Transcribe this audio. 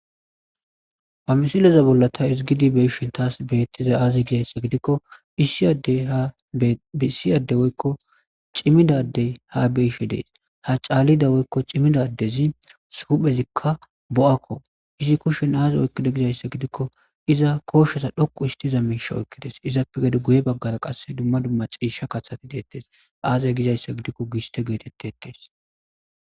Ba misileza bolla ta isigidi beishin taas beettiza aaze gizayssa gidikko bissiyade woykko cimidadey ha beishe dees ha caalida woykko cimidadezi suphezikka bo'akko izi kushen aaze oykkida gizayssa gidikko iza kooshshesa dhoqu histiza miisha oykkides izappe gede guye baggara qasse dumma dumma ciisha kathati deettes aazye gizayssa gidikko giste geetettettes